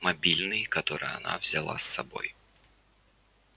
мобильный который она взяла с собой